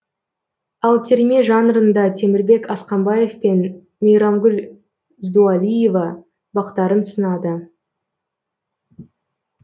ал терме жанрында темірбек асқамбаев пен мейрамгүл здуалиева бақтарын сынады